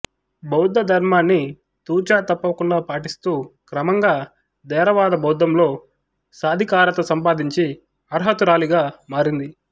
బౌద్ధ ధర్మాన్ని తూచా తప్పకుండా పాటిస్తూ క్రమంగా థేరవాద బౌద్ధంలో సాధికారత సంపాదించి అర్హతురాలిగా మారింది